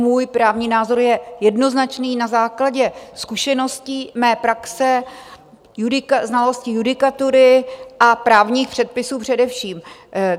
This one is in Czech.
Můj právní názor je jednoznačný na základě zkušeností, mé praxe, znalosti judikatury a právních předpisů především.